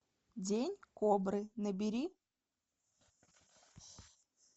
день кобры набери